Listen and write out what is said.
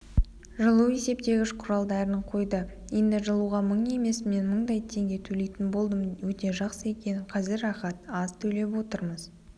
жылу есептегіш құралдарынқойды енді жылуға мың емес мен мыңдай теңге төлейтін болдым өте жақсы екен қазір рахат аз төлеп отырмыз